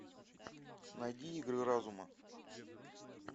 найди игры разума